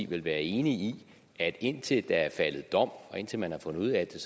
vel være enig i at indtil der er faldet dom og indtil man har fundet ud af at